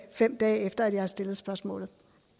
fem dage efter at jeg stillede spørgsmålet